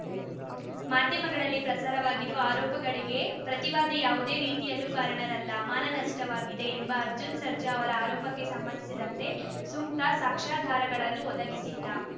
ಮಾಧ್ಯಮಗಳಲ್ಲಿ ಪ್ರಸಾರವಾಗಿರುವ ಆರೋಪಗಳಿಗೆ ಪ್ರತಿವಾದಿ ಯಾವುದೇ ರೀತಿಯಲ್ಲೂ ಕಾರಣರಲ್ಲ ಮಾನನಷ್ಟವಾಗಿದೆ ಎಂಬ ಅರ್ಜುನ್‌ ಸರ್ಜಾ ಅವರ ಆರೋಪಕ್ಕೆ ಸಂಬಂಧಿಸಿದಂತೆ ಸೂಕ್ತ ಸಾಕ್ಷ್ಯಾಧಾರಗಳನ್ನು ಒದಗಿಸಿಲ್ಲ